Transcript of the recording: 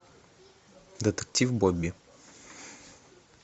детектив бобби